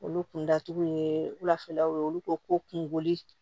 Olu kun da tugu ye wulafɛlaw ye olu ko ko kungoli